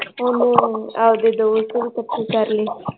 ਉਹ ਆਪਦੇ ਦੋਸਤ ਵੀ ਕੱਠੇ ਕਰਲੇ l